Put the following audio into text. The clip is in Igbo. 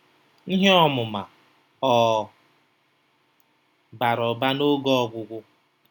Ihe ọmụma ọ̀ bara ụba n'oge ọgwụgwụ?